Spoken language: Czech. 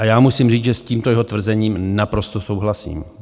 A já musím říct, že s tímto jeho tvrzením naprosto souhlasím.